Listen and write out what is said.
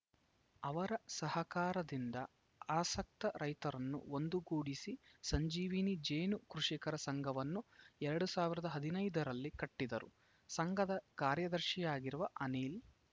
ಅವರ ಸಹಕಾರದಿಂದ ಆಸಕ್ತ ರೈತರನ್ನು ಒಂದುಗೂಡಿಸಿ ಸಂಜೀವಿನಿ ಜೇನು ಕೃಷಿಕರ ಸಂಘವನ್ನು ಎರಡ್ ಸಾವಿರದ ಹದಿನೈದು ರಲ್ಲಿ ಕಟ್ಟಿದರು ಸಂಘದ ಕಾರ್ಯದರ್ಶಿಯಾಗಿರುವ ಅನಿಲ